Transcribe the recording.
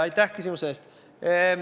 Aitäh küsimuse eest!